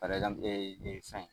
fɛn.